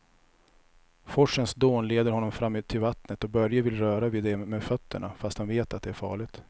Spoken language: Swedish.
Forsens dån leder honom fram till vattnet och Börje vill röra vid det med fötterna, fast han vet att det är farligt.